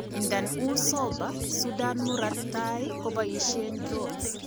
Idadan uy sober, Sudan Murat tai koboishen 'drones'.